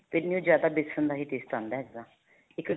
ਤਾਂਹੀਓ ਜਿਆਦਾ ਵੇਸਨ ਦਾ taste ਆਉਂਦਾ ਹੈ ਇਸ ਦਾ